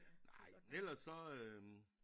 Nej men ellers så øh